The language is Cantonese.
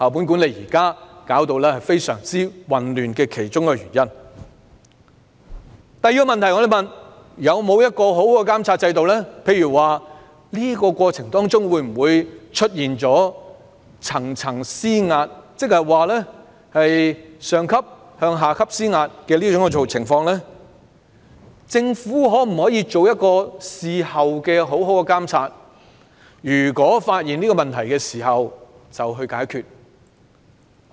第二個問題是，當局有否訂定良好的監察制度，監察在過程中，有否出現"層層施壓"的情況呢？與此同時，政府可否作出良好的事後監察，一旦發現有問題，即着手解決？